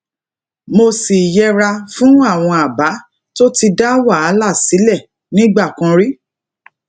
mo sì yẹra fún àwọn àbá tó ti dá wàhálà sílè nígbà kan rí